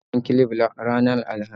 Na siya sabon clif ranar Alhamis